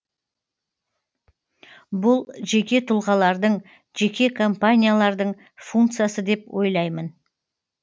бұл жеке тұлғалардың жеке компаниялардың функциясы деп ойлаймын